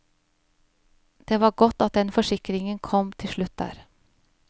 Det var godt at den forsikringen kom til slutt der.